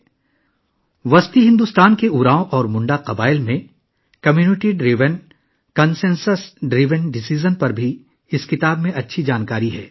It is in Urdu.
اس کتاب میں وسطی بھارت کے اوراون اور منڈا قبائل میں کمیونٹی پر مبنی اور اتفاق رائے سے چلنے والے فیصلہ سازی کے بارے میں بھی اچھی معلومات ہیں